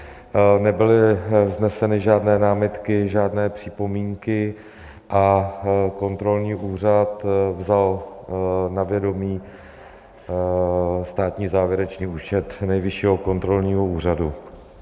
Nebyly vzneseny žádné námitky, žádné připomínky a kontrolní výbor vzal na vědomí státní závěrečný účet Nejvyššího kontrolního úřadu.